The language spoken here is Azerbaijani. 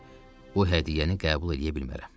Lakin bu hədiyyəni qəbul eləyə bilmərəm.